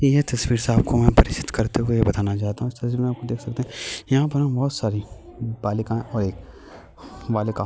यह तस्वीर से आपको मैं परिचित करते हुए यह बताना चाहता हूँ इस तस्वीर में आपको देख सकते हैं यहाँ पर हम बहुत सारी बालिकाएं और एक वालिका --